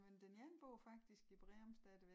Jamen den ene bor faktisk i Breum stadigvæk